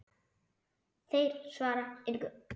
Þeir svara engu.